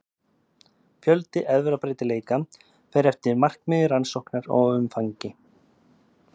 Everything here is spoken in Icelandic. Fjöldi erfðabreytileika fer eftir markmiði rannsóknar og umfangi.